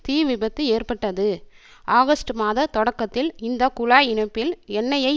தீ விபத்து ஏற்பட்டது ஆகஸ்ட் மாத தொடக்கத்தில் இந்த குழாய் இணைப்பில் எண்ணெயை